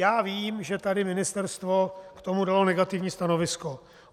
Já vím, že tady ministerstvo k tomu dalo negativní stanovisko.